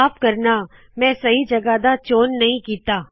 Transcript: ਮਾਫ ਕਰੋ ਮੈ ਨਵੀ ਜਗਹ ਦਾ ਚੌਣ ਨਹੀ ਕੀਤਾ